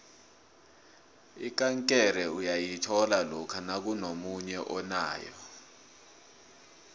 ikankere uyayithola lokha nakunomunye onayo